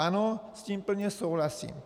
Ano, s tím plně souhlasím.